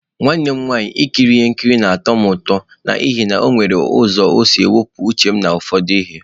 Nwanne m nwanyị, Ikiri ihe nkiri na-atọ m ụtọ n'ihi na ọ nwere ụzọ isi wepụ uche m na ụfọdụ ihe.